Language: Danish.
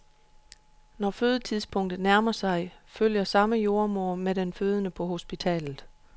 Når fødetidspunktet nærmer sig, følger samme jordemoder med den fødende på hospitalet.